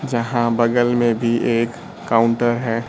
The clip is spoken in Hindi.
जहां बगल में भी एक काउंटर हैं।